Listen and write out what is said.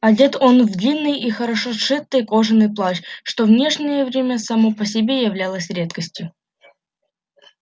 одет он в длинный и хорошо сшитый кожаный плащ что в нынешнее время само по себе являлось редкостью